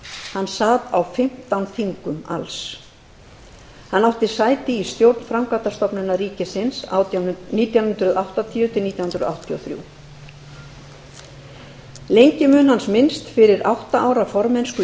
hann sat á fimmtán þingum alls hann átti sæti í stjórn framkvæmdastofnunar ríkisins nítján hundruð áttatíu nítján hundruð áttatíu og þrjú lengi mun hans minnst fyrir átta ára formennsku í